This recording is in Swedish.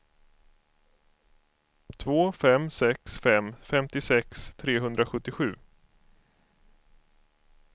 två fem sex fem femtiosex trehundrasjuttiosju